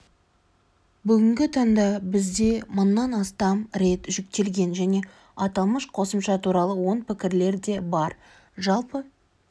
бүгінгі таңда бізде мыңнан астам рет жүктелген және аталмыш қосымша туралы оң пікірлер де бар жалпы